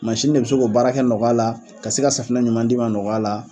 Mansini de be se k'o baara kɛ nɔgɔya la ka se ka safinɛ ɲuman d'e ma nɔgɔya la